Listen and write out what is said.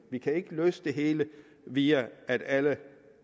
vi kan ikke løse det hele via at alle